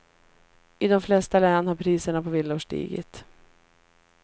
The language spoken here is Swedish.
I de flesta län har priserna på villor stigit.